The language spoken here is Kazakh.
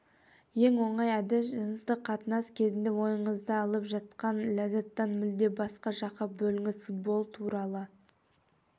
ең оңай әдіс жыныстық қатынас кезінде ойыңызды алып жатқан ләззаттан мүлде басқа жаққа бөліңіз футбол туралы